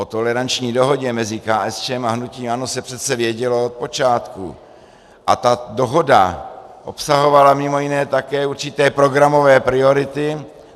O toleranční dohodě mezi KSČM a hnutím ANO se přece vědělo od počátku a ta dohoda obsahovala mimo jiné také určité programové priority.